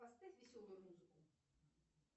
поставь веселую музыку